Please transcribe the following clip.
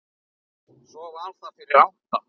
Svo var það fyrir átta.